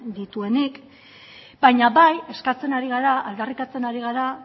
dituenik baina bai eskatzen ari gara aldarrikatzen ari gara